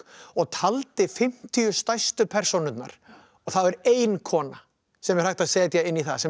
og taldi fimmtíu stærstu persónurnar og það er ein kona sem er hægt að setja inn í það sem er